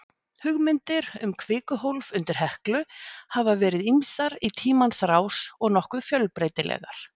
Hugmyndir um kvikuhólf undir Heklu hafa verið ýmsar í tímans rás og nokkuð fjölbreytilegar.